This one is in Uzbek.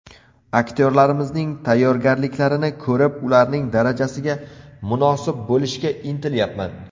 Aktyorlarimizning tayyorgarliklarini ko‘rib, ularning darajasiga munosib bo‘lishga intilyapman.